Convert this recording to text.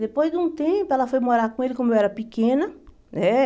Depois de um tempo, ela foi morar com ele, como eu era pequena, né?